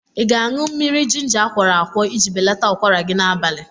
Ị ga-aṅụ mmiri jinja akwọrọ akwọ iji belata ụkwara gị n'abalịa